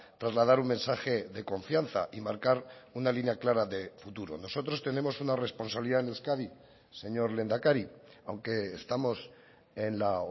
trasladar un mensaje de confianza y marcar una línea clara de futuro nosotros tenemos una responsabilidad en euskadi señor lehendakari aunque estamos en la